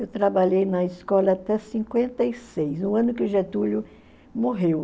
Eu trabalhei na escola até cinquenta e seis, o ano em que o Getúlio morreu.